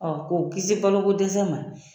k'u kiisi balokodɛsɛ ma.